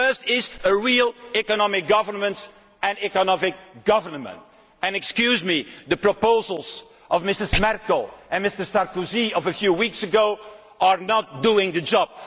The first is a real economic governance and economic government. Excuse me, but the proposals of Mrs Merkel and Mr Sarkozy a few weeks ago are not doing the job.